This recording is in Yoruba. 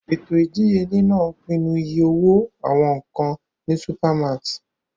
Ètò ìdíyelé náà ń pinnu iye owó àwọn nkan ní supermarts.